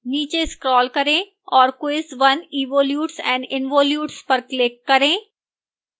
नीचे स्कॉल करें और quiz 1evolutes and involutes पर click करें